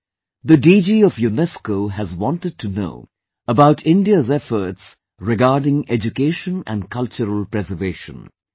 Friends, The DG of UNESCO has wanted to know about India's efforts regarding Education and Cultural Preservation